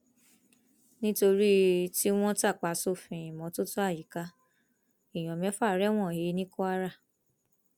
nítorí tí wọn tàpá sófin ìmọtótó àyíká èèyàn mẹfà rẹwọn he ní kwara